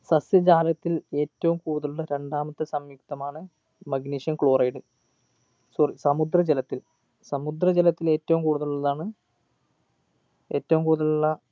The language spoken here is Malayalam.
സസ്യജാലത്തിൽ ഏറ്റവും കൂടുതലുള്ള രണ്ടാമത്തെ സംയുക്തമാണ് magnesium chloridesorry സമുദ്രജലത്തിൽ സമുദ്രജലത്തിൽ ഏറ്റവും കൂടുതലുള്ളതാണ് ഏറ്റവും കൂടുതലുള്ള